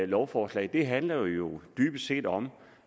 lovforslag handler jo dybest set om